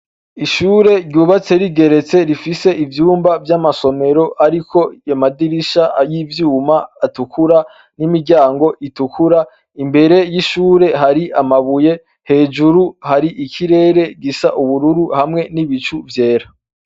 Ishure ryubatse rigeretse rifise ivyumba vy'amasomero ariko amadirisha y'ivyuma, atukura, n'imiryango itukura, imbere y'ishure hari amabuye. Hejuru hari ikirere gisa ubururu hamwe n'ibicu vyera.